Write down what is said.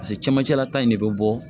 pase camancɛla ta in de be bɔ